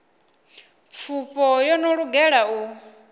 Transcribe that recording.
pfufho yo no lugela u